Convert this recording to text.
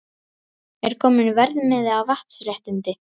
Er kominn verðmiði á vatnsréttindi?